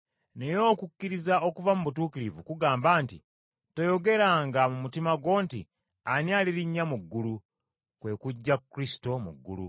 Naye okukkiriza okuva mu butuukirivu, kugamba nti, “Toyogeranga mu mutima gwo nti, ‘Ani alirinnya mu ggulu?’ (kwe kuggya Kristo mu ggulu)